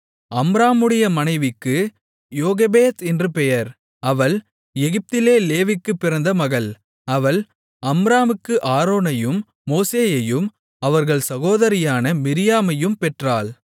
அம்ராமுடைய மனைவிக்கு யோகெபேத் என்று பெயர் அவள் எகிப்திலே லேவிக்குப் பிறந்த மகள் அவள் அம்ராமுக்கு ஆரோனையும் மோசேயையும் அவர்கள் சகோதரியான மிரியாமையும் பெற்றாள்